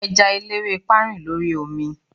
eja elerepa rin l'ori omi